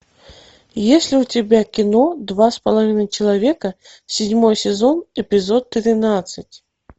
есть ли у тебя кино два с половиной человека седьмой сезон эпизод тринадцать